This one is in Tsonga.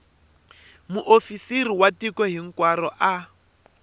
muofisirinkulu wa tiko hinkwaro a